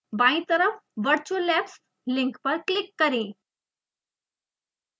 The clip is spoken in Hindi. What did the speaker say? बायीं तरफ virtual labs लिंक पर क्लिक करें